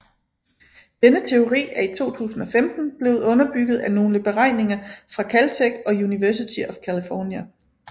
Denne teori er i 2015 blevet underbygget af nogle beregninger fra Caltech og University of California